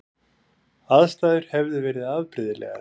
Aðstæður hefði verið afbrigðilegar